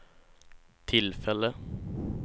tillfälle